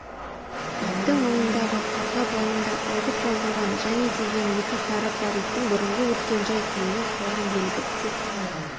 иттің мойнындағы қарғы бауында ойып жазылған және деген екі харіп бар иттің бұрынғы өткен жай-күйінен қалған белгі тек